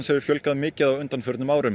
hefur fjölgað mikið á undanförnum árum